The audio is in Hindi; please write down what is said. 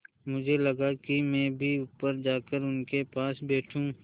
मुझे लगा कि मैं भी ऊपर जाकर उनके पास बैठूँ